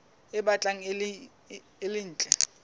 e batlang e le ntle